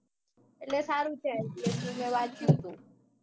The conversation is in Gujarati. એટલે સારું છે ielts નું મેં વાંચ્યું તું